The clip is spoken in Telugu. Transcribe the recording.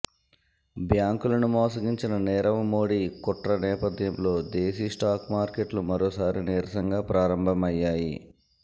బ్యాంకులను మోసగించిన నీరవ్ మోడీ కుట్ర నేపథ్యంలో దేశీ స్టాక్ మార్కెట్లు మరోసారి నీరసంగా ప్రారంభమయ్యాయి